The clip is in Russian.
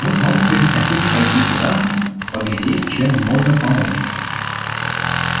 мы с мамушкой хотим пойти туда поглядеть чем можно помочь